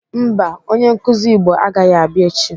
Mba, onye nkụzi Igbo agaghị abịa echi.